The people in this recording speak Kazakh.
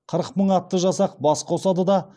қырық мың атты жасақ бас қосады да